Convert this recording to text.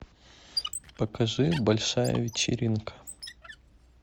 покажи большая вечеринка